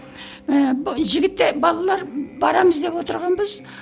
ііі жігіттер балалар барамыз деп отырғанбыз